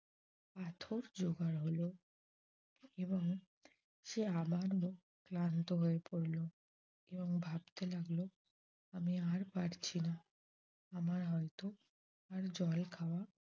পাথর যোগাড় হল এবং সে আবারও ক্লান্ত হয়ে পড়ল। এবং ভাবতে লাগল আমি আর পারছি না। আমার হয়ত আর জল খাওয়া